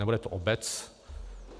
Nebude to obec.